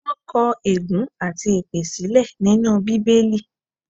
Wọ́n kọ̀ ègún àti èpè sílẹ̀ nínú Bíbélì.